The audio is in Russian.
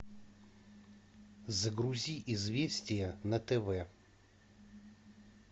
загрузи известия на тв